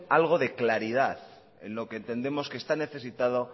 algo de claridad en lo que entendemos que está necesitado